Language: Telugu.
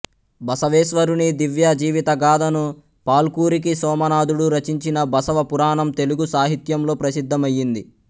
బసవేశ్వరుని దివ్య జీవితగాధను పాల్కురికి సోమనాధుడు రచించిన బసవ పురాణం తెలుగు సాహిత్యంలో ప్రసిద్ధమయింది